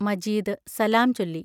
മജീദ് സലാം ചൊല്ലി.